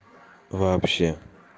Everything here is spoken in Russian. вообще